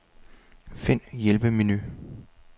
Find hjælpemenu.